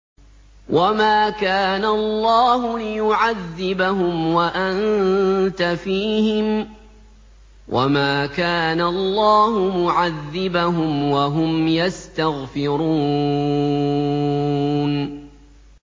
وَمَا كَانَ اللَّهُ لِيُعَذِّبَهُمْ وَأَنتَ فِيهِمْ ۚ وَمَا كَانَ اللَّهُ مُعَذِّبَهُمْ وَهُمْ يَسْتَغْفِرُونَ